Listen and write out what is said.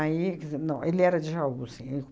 Aí, quer dizer, não, ele era de Jaú, sim.